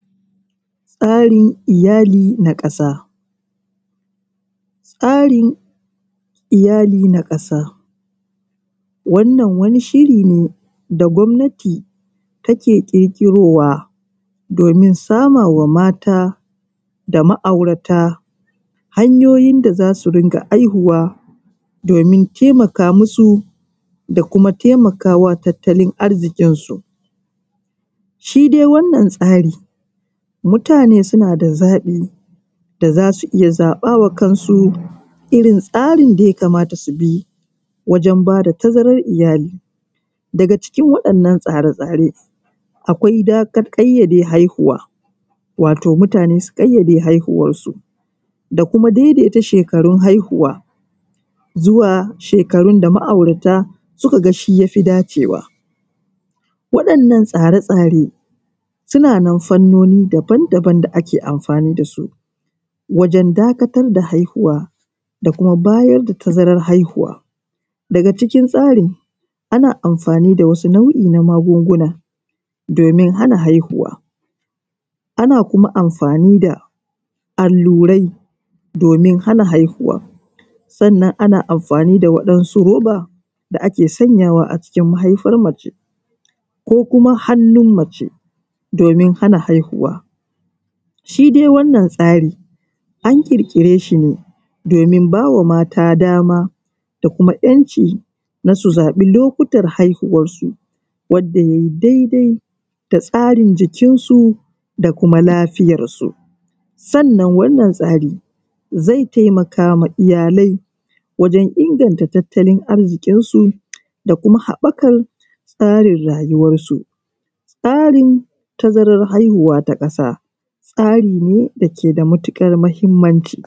Tsarin iyali na ƙasa. Tsarin iyali na kasa wannan wani shiri ne da gwamnati take ƙirƙirowa domin sama wa mata da ma'aurata hanyoyin da za su dinga haihuwa, domin taimaka masu da kuma taimakawa taltalin arzikin su. Shi dai wannan tsarin mutane suna da zaɓi da za su iya zaɓa wa kansu irin tsarin da ya kamata su bi wajan ba da tazaran iyali. Daga cikin wa'innan tsare tsare akwai ƙayyade haihuwa wato mutane sun ƙayyade haihuwar su, da kuma daidaita shekarun haihuwa zuwa shekarun da ma'aurata suka ga ya fi dacewa. Waɗannan tsare tsare suna nan fannoni daban daban da ake amfani da su wajan dakatar da haihuwa da kuma bayar da tazaran haihuwa. Daga cikin tsarin ana amfani da wasu nau’I na magunguna domin hana haihuwa, ana kuma amfani da allurai domin hana haihuwa, sannan ana amfani da waɗansu roba da ake sanyawa a ciki mahaifar mace, ko kuma hannun mace domin hana haihuwa. Shi dai wannan tsari an ƙirƙire shi ne domin ba wa mata dama da kuma ‘yanci na su zaɓi lokutan haihiwan su wanda ya yi dai dai da tsarin jikin su, da kuma lafiyan su. Sannan wannan tsari zai taimaka ma iyalai mata wajan inganta taltalin arzikinsu su da kuma haɓakan tsarin rayuwansu. Tsarin tazaran haihuwa ta ƙasa tsari ne da ke da matuƙar muhimmanci.